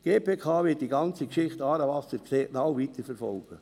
Die GPK wird die ganze «Aarewasser»-Geschichte sehr genau weiterverfolgen.